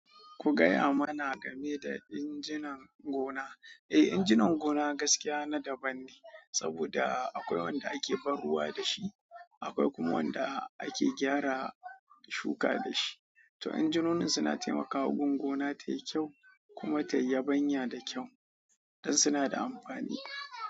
Ku gaya mana game da injinan gona. Eh injinan gona gaskiya na daban ne saboda akwai wanda ake ban ruwa dashi akwai kuma wanda ake gyara shuka dashi to injinonin suna taimakawa gun gona tayi kyau kuma tayi yabanya da kyau, don suna da amfani.